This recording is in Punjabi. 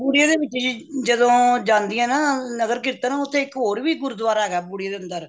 ਬੂੜੀਏ ਦੇ ਵਿਚ ਹੀ ਜਦੋ ਜਾਂਦੀ ਏ ਨਾ ਨਗਰ ਕੀਰਤਨ ਓਥੇ ਇੱਕ ਹੋਰ ਵੀ ਗੁਰੂਦੁਆਰਾ ਹੈਗਾ ਬੁੜੀਏ ਦੇ ਅੰਦਰ